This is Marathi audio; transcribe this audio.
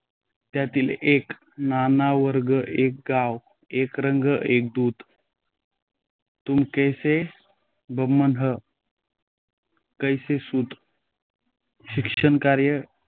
त्यातील एक नाना वर्ण एक गाव, एक रंग एक दूध तुम कैसे बम्मन हं कैसे सूद शैक्षणिक कार्य